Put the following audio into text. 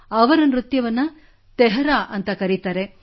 ಅವರ ನೃತ್ಯವನ್ನು ತೆಹರಾ ಎಂದು ಕರೆಯುತ್ತಾರೆ